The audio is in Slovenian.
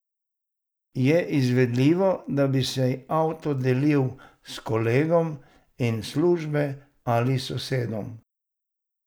Je izvedljivo, da bi si avto delili s kolegom in službe ali sosedom?